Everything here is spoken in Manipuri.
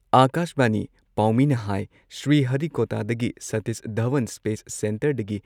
ꯑꯥꯀꯥꯁꯕꯥꯅꯤ ꯄꯥꯎꯃꯤꯅ ꯍꯥꯏ ꯁ꯭ꯔꯤꯍꯔꯤꯀꯣꯇꯥꯗꯒꯤ ꯁꯥꯇꯤꯁ ꯙꯋꯟ ꯁ꯭ꯄꯦꯁ ꯁꯦꯟꯇꯔꯗꯒꯤ